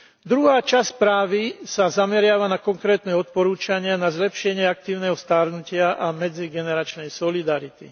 Druhá časť správy sa zameriava na konkrétne odporúčania na zlepšenie aktívneho starnutia a medzigeneračnej solidarity.